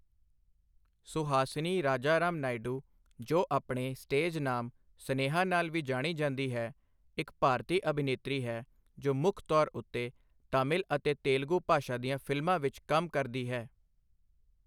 ਸੁਹਾਸਿਨੀ ਰਾਜਾਰਾਮ ਨਾਇਡੂ, ਜੋ ਆਪਣੇ ਸਟੇਜ ਨਾਮ ਸਨੇਹਾ ਨਾਲ ਜਾਣੀ ਜਾਂਦੀ ਹੈ, ਇੱਕ ਭਾਰਤੀ ਅਭਿਨੇਤਰੀ ਹੈ ਜੋ ਮੁੱਖ ਤੌਰ ਉੱਤੇ ਤਾਮਿਲ ਅਤੇ ਤੇਲਗੂ ਭਾਸ਼ਾ ਦੀਆਂ ਫ਼ਿਲਮਾਂ ਵਿੱਚ ਕੰਮ ਕਰਦੀ ਹੈ।